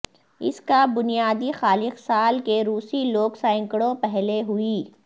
اس کا بنیادی خالق سال کے روسی لوگ سینکڑوں پہلے ہوئی